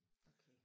Okay